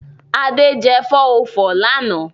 Ade jẹ 404 lánàá.